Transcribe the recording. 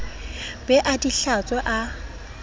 be a di hlatswe a